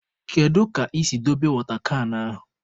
Kedu ka i si dobe wọta kan ahụ?